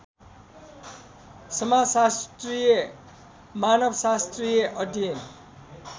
समाजशास्त्रीय मानवशास्त्रीय अध्ययन